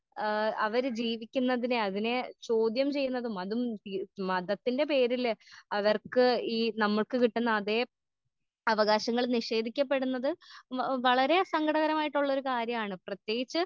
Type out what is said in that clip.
ഏ അവര് ജീവിക്കുന്നതിനെ അതിനെ ചോദ്യം ചെയ്യുന്നതും അതും മതത്തിന്റെ പേരില് അവർക്ക് ഈ നമ്മക്ക് കിട്ടുന്ന അതേ അവകാശങ്ങൾ നിഷേധിക്കപ്പെടുന്നത് വളരേ സങ്കടകരമായിട്ടുള്ളൊരു കാര്യാണ് പ്രത്യേകിച്ച്